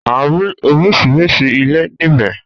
A rí oríṣiríṣi ilé níbẹ̀